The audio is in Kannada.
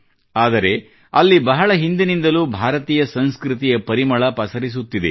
ಆದರೆ ಅಲ್ಲಿ ಬಹಳ ಹಿಂದಿನಿಂದಲೂ ಭಾರತೀಯ ಸಂಸ್ಕೃತಿಯ ಪರಿಮಳ ಪಸರಿಸುತ್ತಿದೆ